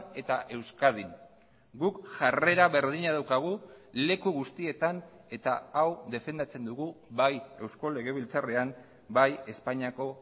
eta euskadin guk jarrera berdina daukagu leku guztietan eta hau defendatzen dugu bai eusko legebiltzarrean bai espainiako